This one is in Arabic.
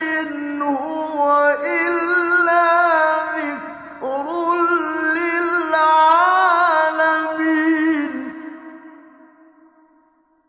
إِنْ هُوَ إِلَّا ذِكْرٌ لِّلْعَالَمِينَ